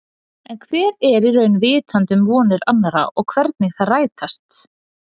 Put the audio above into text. En hver er í raun vitandi um vonir annarra og hvernig þær rætast.